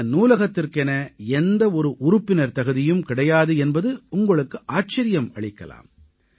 இந்த நூலகத்திற்கென எந்த ஒரு உறுப்பினர் தகுதியும் கிடையாது என்பது உங்களுக்கு ஆச்சரியம் அளிக்கலாம்